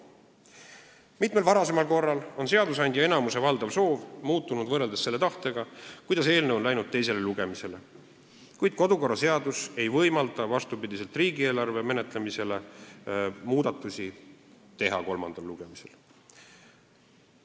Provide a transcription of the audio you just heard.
Ka mitmel varasemal korral on seadusandja enamuse soov muutunud võrreldes selle tahtega, millega eelnõu on saadetud teisele lugemisele, kuid vastupidi riigieelarve menetlemisele ei võimalda kodukorraseadus kolmandal lugemisel muudatusi teha.